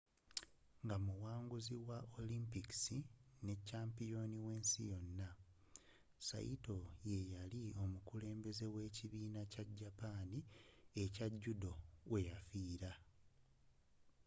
nga omuwanguzi wa olimpic nekyampiyoni w'ensi yona saito yeyali omukulembeze wekibiina kya japan ekya judo weyafiira